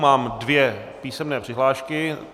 Mám dvě písemné přihlášky.